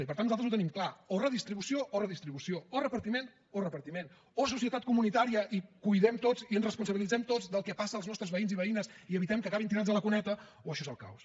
i per tant nosaltres ho tenim clar o redistribució o redistribució o repartiment o repartiment o societat comunitària i cuidem tots i ens responsabilitzem tots del que passa als nostres veïns i veïnes i evitem que acabin tirats a la cuneta o això és el caos